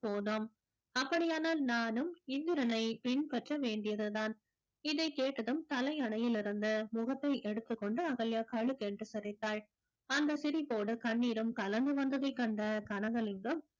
போதும் அப்படியானால் நானும் இந்திரனை பின்பற்ற வேண்டியதுதான் இதைக் கேட்டதும் தலையணையில் இருந்த முகத்தை எடுத்துக்கொண்டு அகல்யா களுக் என்று சிரித்தாள் அந்த சிரிப்போடு கண்ணீரும் கலந்து வந்ததை கண்ட கனகலிங்கம்